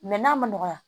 Mɛ n'a ma nɔgɔya